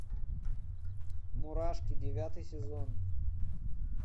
мурашки девятый сезон